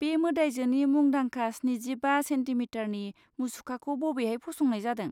बे मोदाइजोनि मुंदांखा स्निजिबा सेन्टिमिटारनि मुसुखाखौ बबेहाय फसंनाय जादों?